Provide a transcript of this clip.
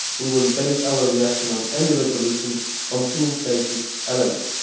We will base our reaction to any resolution on two basic elements.